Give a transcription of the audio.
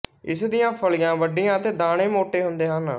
ਇਸ ਦੀਆਂ ਫਲੀਆਂ ਵੱਡੀਆਂ ਅਤੇ ਦਾਣੇ ਮੋਟੇ ਹੁੰਦੇ ਹਨ